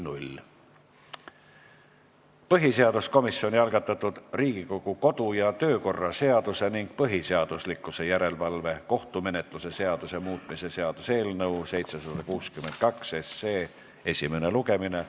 Põhiseaduskomisjoni algatatud Riigikogu kodu- ja töökorra seaduse ning põhiseaduslikkuse järelevalve kohtumenetluse seaduse muutmise seaduse eelnõu 762 esimene lugemine.